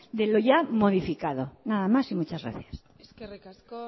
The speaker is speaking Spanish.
de lo ya modificado nada más y muchas gracias eskerrik asko